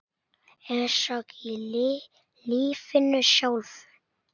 Eins og í lífinu sjálfu.